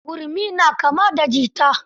Gurmi na kama da jita.